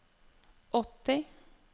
åtti